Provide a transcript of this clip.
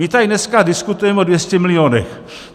My tady dneska diskutujeme o 200 milionech.